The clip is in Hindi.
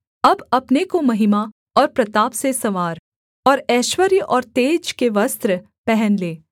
अब अपने को महिमा और प्रताप से संवार और ऐश्वर्य और तेज के वस्त्र पहन ले